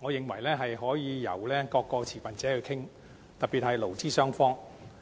我認為可以由各個持份者一起討論，特別是勞資雙方。